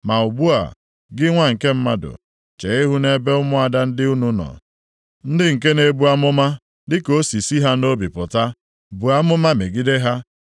“Ma ugbu a, gị nwa nke mmadụ, chee ihu nʼebe ụmụada ndị unu nọ, ndị nke na-ebu amụma dị ka o si si ha nʼobi pụta. Buo amụma megide ha